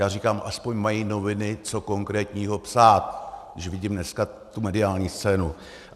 Já říkám, aspoň mají noviny co konkrétního psát, když vidím dneska tu mediální scénu.